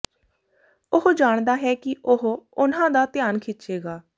ਉਹ ਜਾਣਦਾ ਹੈ ਕਿ ਉਹ ਉਨ੍ਹਾਂ ਦਾ ਧਿਆਨ ਖਿੱਚੇਗਾ